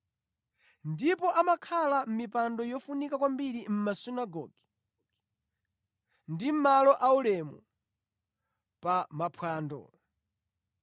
Ndipo amakhala pa mipando yofunika kwambiri mʼmasunagoge ndi malo aulemu pa maphwando.